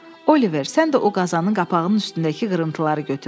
Oliver, sən də o qazanın qapağının üstündəki qırıntıları götür.